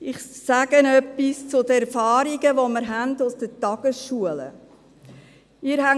Ich sage Ihnen etwas zu den Erfahrungen, die wir aus den Tagesschulen haben.